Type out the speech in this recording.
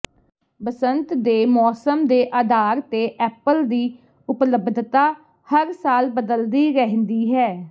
ਬਸੰਤ ਦੇ ਮੌਸਮ ਦੇ ਆਧਾਰ ਤੇ ਐਪਲ ਦੀ ਉਪਲਬਧਤਾ ਹਰ ਸਾਲ ਬਦਲਦੀ ਰਹਿੰਦੀ ਹੈ